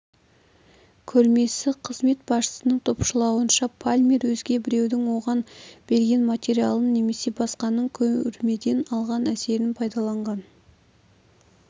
көрмесі қызмет басшысының топшылауынша палмер өзге біреудің оған берген материалын немесе басқаның көрмеден алған әсерін пайдаланған